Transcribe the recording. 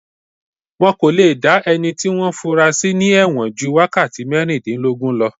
Wọ́n kò le dá ẹni tí wọ́n fúnra sí ní ẹ̀wọ̀n ju wákàtí mẹ́rìndínlógún lọ